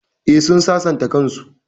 Eh, sun sasanta kan su